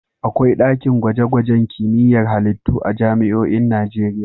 Akwai ɗakin gwaje-gwajen kimiyyar halittu a jami'oin Najeriya.